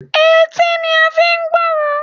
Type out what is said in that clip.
Etí ni a n fi n gbórò